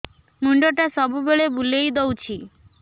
ମୁଣ୍ଡଟା ସବୁବେଳେ ବୁଲେଇ ଦଉଛି